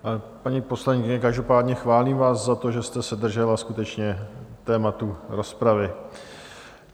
Paní poslankyně, každopádně chválím vás za to, že jste se držela skutečně tématu rozpravy.